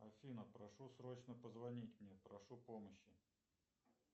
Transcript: афина прошу срочно позвонить мне прошу помощи